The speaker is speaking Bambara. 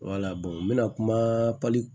n mɛna kuma